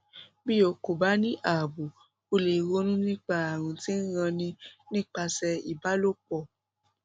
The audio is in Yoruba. bí o kò bá ní ààbò o lè ronú nípa ààrùn tí ń ranni nípasẹ ìbálòpọ